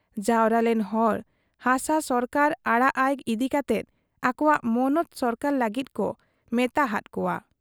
ᱡᱟᱣᱨᱟᱞᱮᱱ ᱦᱚᱲ ᱦᱟᱥᱟ ᱥᱚᱨᱠᱟᱨ ᱟᱲᱟᱜ ᱟᱭ ᱤᱫᱤ ᱠᱟᱛᱮ ᱟᱠᱚᱣᱟᱜ ᱢᱚᱱᱚᱛ ᱥᱚᱨᱠᱟᱨ ᱞᱟᱹᱜᱤᱫ ᱠᱚ ᱢᱮᱛᱟ ᱦᱟᱫ ᱠᱚᱣᱟ ᱾